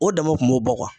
O dama kun b'o bɔ